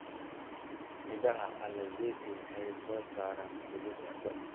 Midhaha alizeti waxay soo saaraan saliidda cunto.